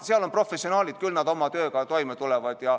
Seal on professionaalid, küll nad oma tööga toime tulevad.